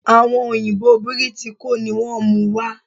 Àwon òyìbó Bìrìtìkó ni wón múu wa